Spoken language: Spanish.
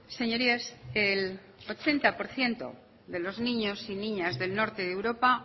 señorías el ochenta por ciento de los niños y niñas del norte de europa